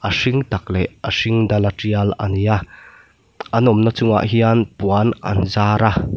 a hring tak leh a hring dal a trial ani a an awm na chungah hian puan an zar a.